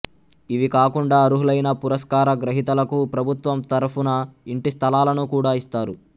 ఇవి కాకుండా అర్హులైన పురస్కార గ్రహీతలకు ప్రభుత్వం తరఫున ఇంటి స్థలాలను కూడా ఇస్తారు